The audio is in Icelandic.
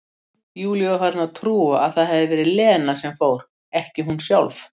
Júlía var farin að trúa að það hefði verið Lena sem fór, ekki hún sjálf.